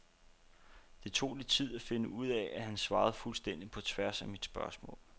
Det tog lidt tid at finde ud af, at han svarede fuldstændig på tværs af mit spørgsmål.